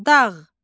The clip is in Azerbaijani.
Dağ.